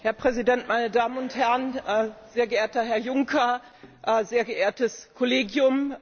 Herr Präsident, meine Damen und Herren, sehr geehrter Herr Juncker, sehr geehrtes Kollegium!